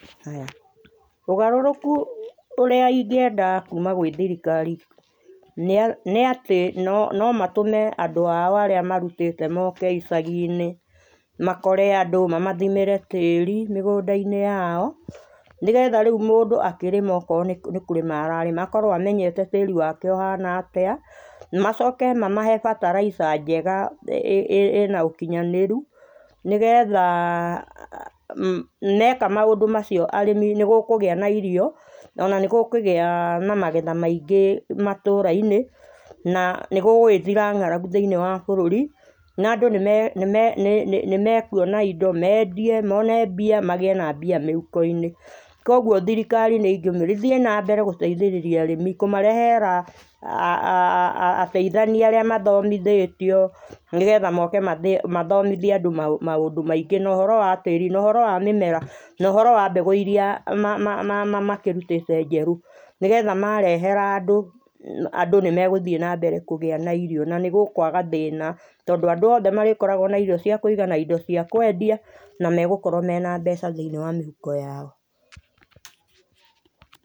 Ũgarũrũku ũrĩa ingĩenda kuma gwĩ thirikari, nĩ nĩ atĩ no no matũme andũ ao arĩa marutete moke icaginĩ makore andũ mamathimĩre tĩri mĩgũnda -inĩ yao, nĩgetha rĩu mũndũ akĩrĩma okorwo nĩ kũrĩma ararĩma, akorwo amenyete tĩri wake ũhana atĩa, macoke mamahe bataraitha njega ĩ ĩ ĩna ũkinyanĩru nĩ gethaa, meka maũndũ macio arĩmi nĩ gũkũgĩa na irio, ona nĩ gũkũgĩa na magetha maingĩ matũra-inĩ, na nĩ gũgũgĩthira ng'aragu thĩinĩ wa bũrũri na andũ nĩ me nĩ me nĩ me kuona indo, mendie, mone mbia, magĩe na mbia mĩhuko-inĩ, kwoguo thirikari ni ingĩmĩũria ithiĩ na mbere gũteithĩrĩria arĩmi, kũmarehera a a a ateithania arĩa mathomithĩtio nĩ getha moke mathomithia andũ ma ma maũndũ maingĩ, na ũhoro wa tĩri, no ũhoro wa mĩmera, na ũhoro wa mbegũ iria ma ma makĩrutĩte njerũ, nĩgetha marehera andũ, andũ nĩ megũthiĩ na mbere kũgĩa na irio na nĩ gũkwaga thĩna, tondũ andũ othe marĩkoragwo na irio cia kũigana, indo cĩa kwendia na megũkorwo mena mbeca thĩinĩ wa mĩhuko yao.